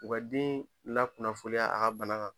U ka den lakunnafoniya a ka bana kan.